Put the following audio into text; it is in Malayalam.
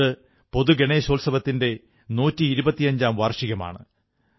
ഇത് പൊതു ഗണേശോത്സവത്തിന്റെ നൂറ്റി ഇരുപത്തഞ്ചാം വാർഷികമാണ്